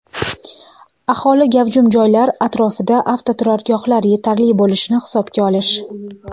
aholi gavjum joylar atrofida avtoturargohlar yetarli bo‘lishini hisobga olish;.